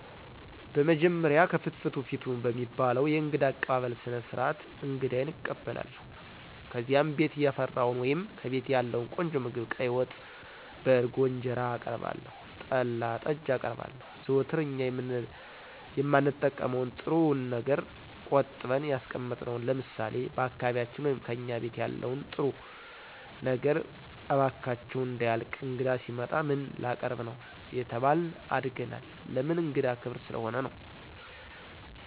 በመጀመሪያ "ከፍትፍቱ ፊቱ" በሚባለዉ የእንግዳ አቀባበል ስርዓት አንግዳየን እቀበላለሁ። ከዚያም ቤት ያፈራዉን ወይም ከቤቴ ያለዉን ቆንጆ ምግብ ቀይ ወጥ፣ በእርጎ እንጀራአቀርባለሁ, ጠላ, ጠጅ አቀርባለሁ, ዘወትር እኛ የማንጠቀመዉን ጥሩዉን ነገር ቆጥበን ያስቀመጥነዉን ለምሳሌ፦ በአካባቢያችን ወይም "ከእኛ ቤት ያለን ጥሩዉ ነገር እባካችሁ እንዳያልቅ እንግዳ ሲመጣ ምን ላቀርብ ነዉ አየተባልን አድገናል ለምን እንግዳ ክብር ስለሆነ።